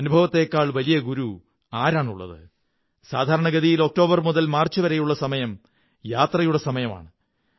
അനുഭവത്തേക്കാൾ വലിയ ഗുരു ആരാണുള്ളത് സാധാരണഗതിയിൽ ഒക്ടോബർ മുതൽ മാര്ച്ച് വരെയുള്ള സമയം യാത്രകളുടെ സമയമാണ്